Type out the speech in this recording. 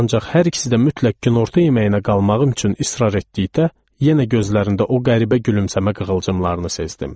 Ancaq hər ikisi də mütləq günorta yeməyinə qalmağım üçün israr etdikdə yenə gözlərində o qəribə gülümsəmə qığılcımlarını sezdim.